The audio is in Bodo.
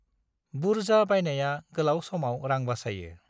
बुरजा बायनाया गोलाव समाव रां बासायो।